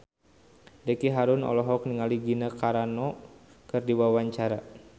Ricky Harun olohok ningali Gina Carano keur diwawancara